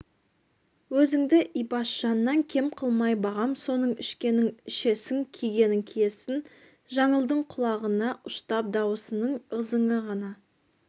өзіңді ибашжаннан кем қылмай бағам соның ішкенін ішесің кигенін киесің жаңылдың құлағына ұштап даусының ызыңы ғана